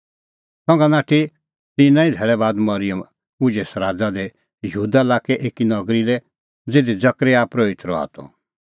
संघा नाठी तिन्नां ई धैल़ै बाद मरिअम उझै सराज़ा दी यहूदा लाक्कै एकी नगरी लै ज़िधी जकरयाह परोहित रहा त